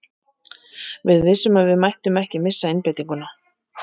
Við vissum að við mættum ekki missa einbeitinguna.